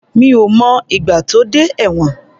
Mi ò mọ ìgbà tó dé ẹ̀wọ̀n.